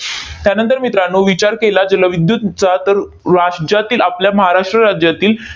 त्यानंतर मित्रांनो, विचार केला जलविद्युत चा, तर राज्यातील, आपल्या महाराष्ट्र राज्यातील